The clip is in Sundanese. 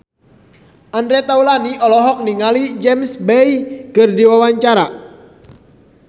Andre Taulany olohok ningali James Bay keur diwawancara